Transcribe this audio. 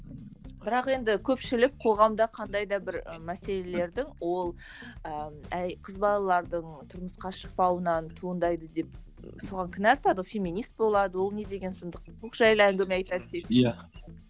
бірақ енді көпшілік қоғамда қандай да бір мәселелердің ол ыыы қыз балалардың тұрмысқа шықпауынан туындайды деп соған кінә артады феминист болады ол не деген сұмдық